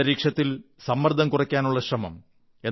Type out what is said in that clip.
അന്തരീക്ഷത്തിൽ സമ്മർദ്ദം കുറയ്ക്കാനുള്ള ശ്രമം